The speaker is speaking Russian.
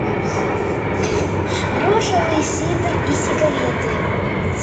грушевый сидр и сигареты